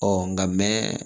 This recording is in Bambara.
nka mɛ